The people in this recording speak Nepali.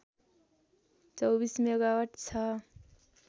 २४ मेगावाट छ